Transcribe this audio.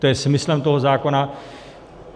To je smyslem toho zákona.